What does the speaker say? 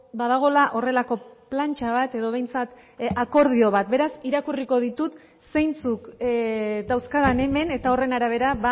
badagoela horrelako plantxa bat edo behintzat akordio bat beraz irakurriko ditut zeintzuk dauzkadan hemen eta horren arabera